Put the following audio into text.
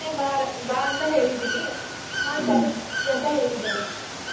ಬಾ ಅಂತಾ ಹೇಳಿದಿನಿ ಹಾ ಸರಿ ಬರ್ತೀವಿ ಅಂತ ಹೇಳಿದಾರೆ.